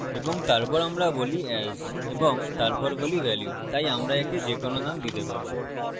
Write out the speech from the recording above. এবং তারপর আমরা বলি as এবং তারপর বলি value তাই আমরা একে যেকোনো name দিতে পারি